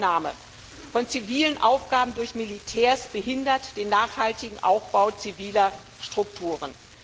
Die Übernahme von zivilen Aufgaben durch Militärs behindert den nachhaltigen Aufbau ziviler Strukturen.